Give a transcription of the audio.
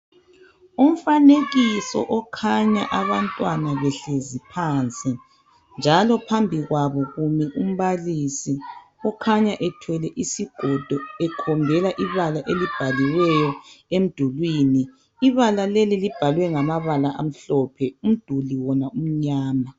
umfanekiso okhanya abantwana behlezi phansi njalo phambi kwabo kumi umbalisi okhanya ethwele isigodo ekhombela ibala elibhaliweyo emdulini ibala leli libhalwe ngamabala amhlophe umduli wona umnyama